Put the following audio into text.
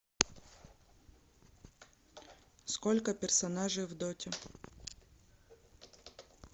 сколько персонажей в доте